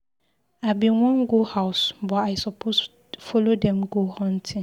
I bin wan go house but I suppose follow dem go hunting.: